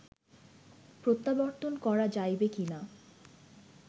প্রত্যাবর্তন করা যাইবে কি না